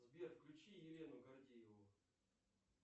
сбер включи елену гордееву